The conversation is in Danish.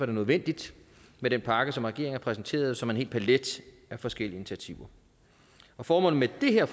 det nødvendigt med den pakke som regeringen har præsenteret som en hel palet af forskellige initiativer og formålet med det her